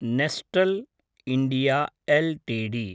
Nestlé India LTD